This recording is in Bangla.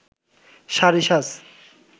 শাড়ি সাজ